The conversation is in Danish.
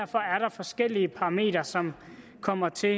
forskellige parametre som kommer til